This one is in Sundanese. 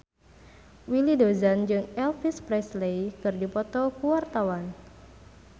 Willy Dozan jeung Elvis Presley keur dipoto ku wartawan